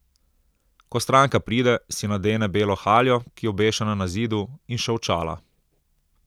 Ko stranka pride, si nadene belo haljo, ki je obešena na zidu, in še očala.